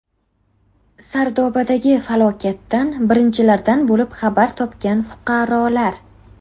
Sardobadagi falokatdan birinchilardan bo‘lib xabar topgan fuqarolar.